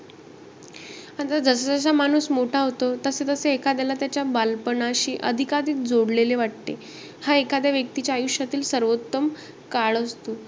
जसं-जसं माणूस मोठा होतो, तसं-तसं एखाद्याला त्याच्या बालपणाशी अधिकाधिक जोडलेले वाटते. हा एखाद्या व्यक्तीच्या आयुष्यातील सर्वोत्तम काळ असतो.